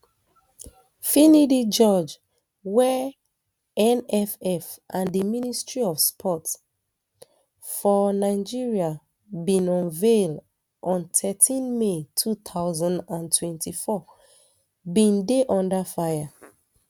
finidi george wey nff and di ministry of sports um for um nigeria bin unveil on thirteen may two thousand and twenty-four bin dey under fire